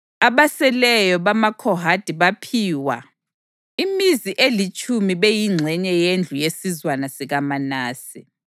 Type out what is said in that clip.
Abaseleyo bamaKhohathi baphiwa imizi elitshumi beyingxenye yendlu yesizwana sikaManase.